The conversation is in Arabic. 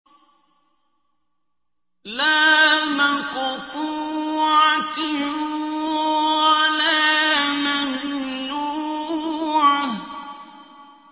لَّا مَقْطُوعَةٍ وَلَا مَمْنُوعَةٍ